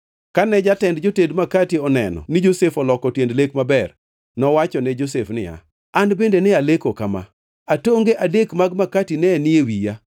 Kane jatend joted makati oneno ni Josef oloko tiend lek maber, nowachone Josef niya, “An bende ne aleko kama: Atonge adek mag makati ne ni e wiya.